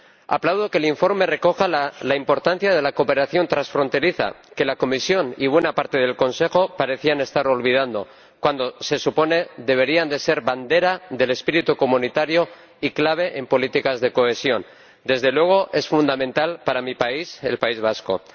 Aplaudo que el informe recoja la importancia de la cooperación transfronteriza, que la Comisión y buena parte del Consejo parecían estar olvidando, cuando se supone que deberían ser bandera del espíritu comunitario y clave en políticas de cohesión ―desde luego, es fundamental para mi país, el País Vasco―.